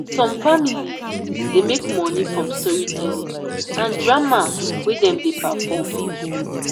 some families dey make money from storytelling and cultural drama wey dem dey perform.